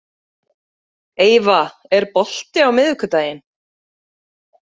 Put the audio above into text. Eyva, er bolti á miðvikudaginn?